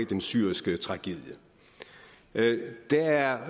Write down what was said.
den syriske tragedie der er